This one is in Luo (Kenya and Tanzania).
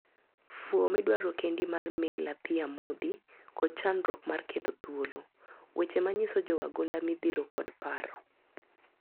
Fuwo midwaro kendi mar Meyler thi amodhi kod chandruok mar keto thuolo ,weche manyiso jowagunda midhiro kod paro.